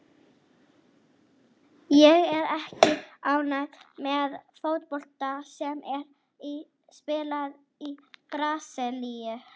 Ég er ekki ánægður með fótboltann sem er spilaður í Brasilíu.